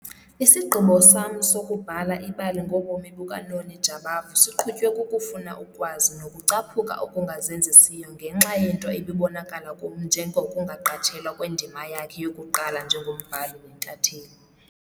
Isigqibo sam sokubhala ibali ngobomi bukaNoni Jabavu siqhutywe kukufuna ukwazi nokucaphuka okungazenzisiyo ngenxa yento ebibonakala kum njengokungaqatshelwa kwendima yakhe yokuqala njengombhali nentatheli.